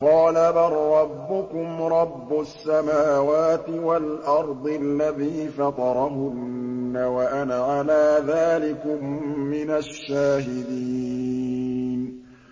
قَالَ بَل رَّبُّكُمْ رَبُّ السَّمَاوَاتِ وَالْأَرْضِ الَّذِي فَطَرَهُنَّ وَأَنَا عَلَىٰ ذَٰلِكُم مِّنَ الشَّاهِدِينَ